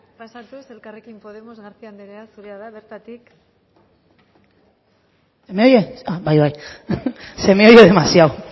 pasatuz elkarrekin podemos garcía anderea zurea da hitza bertatik se me oye bai bai se me ha oído demasiado